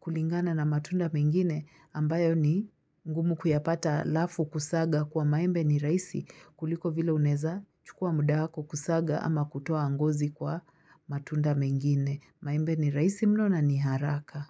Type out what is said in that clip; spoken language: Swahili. kulingana na matunda mengine ambayo ni ngumu kuyapata halafu kusaga kwa maembe ni rahisi kuliko vile unaeza chukua muda wako kusaga ama kutoa ngozi kwa matunda mengine. Maembe ni rahisi mno na ni haraka.